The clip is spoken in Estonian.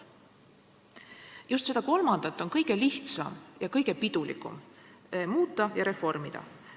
Just seda kolmandat on kõige lihtsam ja kõige pidulikum muuta ja reformida.